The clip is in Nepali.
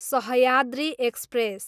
सह्याद्री एक्सप्रेस